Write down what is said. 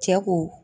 Cɛ ko